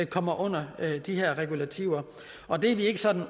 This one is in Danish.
kommer under de her regulativer og det er vi ikke sådan